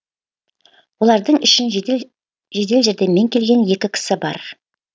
олардың ішін жедел жәрдеммен келген екі кісі бар